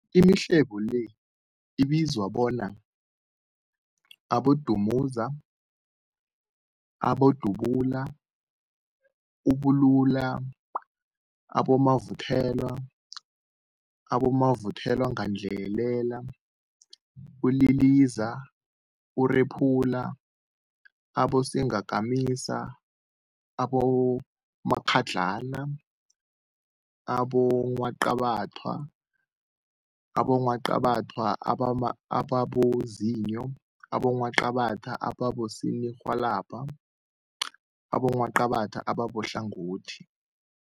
Imihlobo le ibizwa bona, abodumuza, abodubula, ububula, abomavuthelwa, abomavuthelwagandelela, uliliza, urephula, abosingakamisa, abomakghadlana, abongwaqabathwa, abongwaqabathwa ababozinyo, abongwaqabathwa abosininirhwalabha nabongwaqabatha abahlangothi.